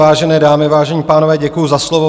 Vážené dámy, vážení pánové, děkuji za slovo.